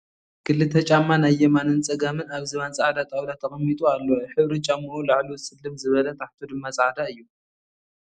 ክልተ ጫማ ናይ የማንን ፀጋምን ኣብ ዝባን ፃዕዳ ጠውላ ተቐሚጡ ኣሎ። ሕብሪ ጨሙኡ ላዕሉ ፅልም ዝበለ ታሕቱ ድማ ፃዕዳ እዩ ።